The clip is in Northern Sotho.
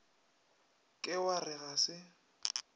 ke wa re ga se